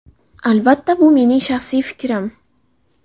Albatta bu mening shaxsiy fikrim.